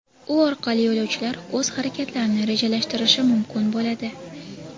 U orqali yo‘lovchilar o‘z harakatlarini rejalashtirishi mumkin bo‘ladi.